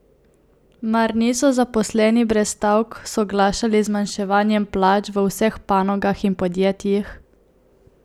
Mar niso zaposleni brez stavk soglašali z zmanjševanjem plač v vseh panogah in podjetjih?